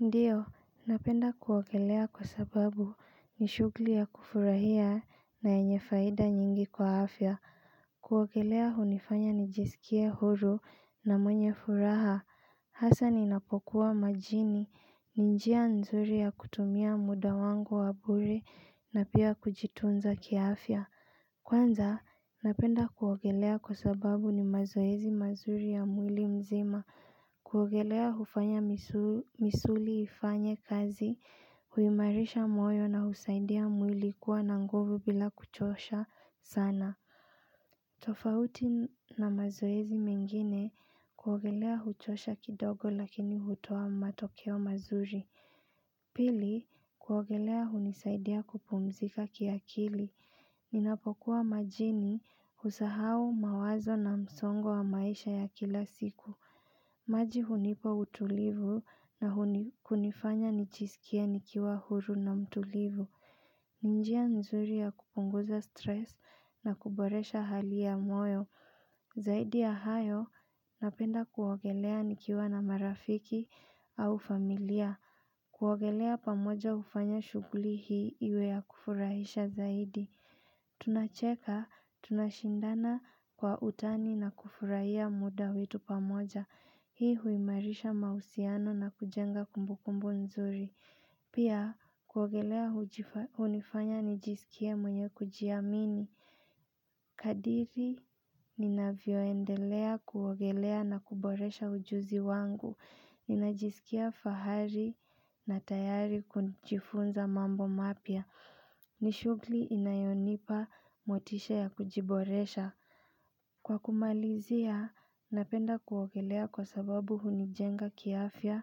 Ndiyo, napenda kuogelea kwa sababu ni shughuli ya kufurahia na yenye faida nyingi kwa afya kuogelea hunifanya nijisikie huru na mwenye furaha Hasa ninapokuwa majini, ni njia nzuri ya kutumia muda wangu wa bure na pia kujitunza kiafya Kwanza, napenda kuogelea kwa sababu ni mazoezi mazuri ya mwili mzima kuogelea hufanya misuli ifanye kazi, huimarisha moyo na husaidia mwili kuwa na nguvu bila kuchosha sana. Tofauti na mazoezi mengine kuogelea huchosha kidogo lakini hutoa matokeo mazuri. Pili kuogelea hunisaidia kupumzika kiakili. Ninapokuwa majini husahau mawazo na msongo wa maisha ya kila siku. Maji hunipa utulivu na kunifanya nijisikie nikiwa huru na mtulivu. Ni njia nzuri ya kupunguza stress na kuboresha hali ya moyo. Zaidi ya hayo, napenda kuogelea nikiwa na marafiki au familia. Kuogelea pamoja hufanya shughuli hii iwe ya kufurahisha zaidi. Tunacheka, tunashindana kwa utani na kufurahia muda wetu pamoja. Hii huimarisha mahusiano na kujenga kumbukumbu nzuri. Pia kuogelea hunifanya nijisikie mwenye kujiamini. Kadiri ninavyoendelea kuogelea na kuboresha ujuzi wangu. Ninajisikia fahari na tayari kujifunza mambo mapya. Ni shughuli inayonipa motisha ya kujiboresha. Kwa kumalizia, napenda kuogelea kwa sababu hunijenga kiafya,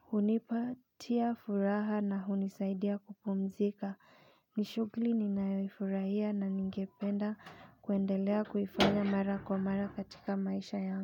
hunipatia furaha na hunisaidia kupumzika. Ni shughuli ninayoifurahia na ningependa kuendelea kufanya mara kwa mara katika maisha yangu.